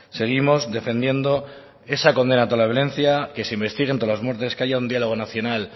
seguimos defendiendo esa condena a toda violencia que se investiguen todas las muertes que haya un diálogo nacional